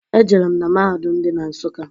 E jerem na mahadum dị na Nsukka.